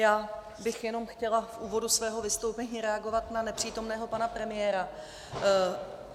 Já bych jenom chtěla v úvodu svého vystoupení reagovat na nepřítomného pana premiéra.